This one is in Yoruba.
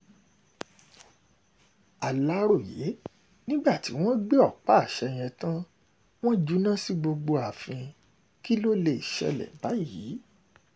um aláròye nígbà tí wọ́n gbé ọ̀pá-àṣẹ yẹn tàn wọ́n júná sí gbogbo um ààfin kí ló lè ṣẹlẹ̀ báyìí